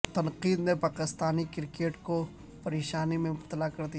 تنقید نے پاکستانی کرکٹرز کو پریشانی میں مبتلا کردیا